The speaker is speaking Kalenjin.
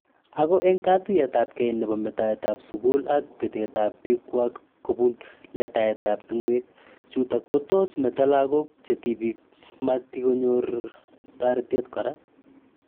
Ako eng katuyet ab kei nebo me taet ab suku ak kabete ap pik kwak ko bun le taet ab tungwek chutok ko tos meto lakok che tipik ma ti ko nyor taretet kora.